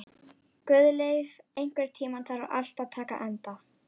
Guðleif, einhvern tímann þarf allt að taka enda.